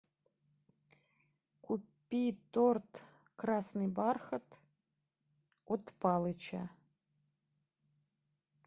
купи торт красный бархат от палыча